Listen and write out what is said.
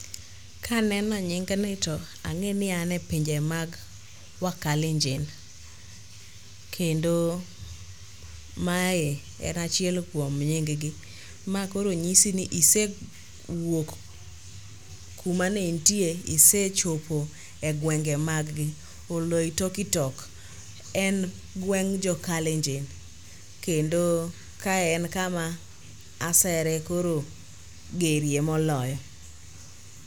Kaneno nyingni to ang'e ni an e pinje mag wakalenjin, kendo mae en achiel kuom nyinggi. Ma koro nyisi ni isewuok kumaneintie isechopo e gwenge maggi. Oloitoktok en gweng' jokalenjin kendo kae en kama asere koro gerie moloyo.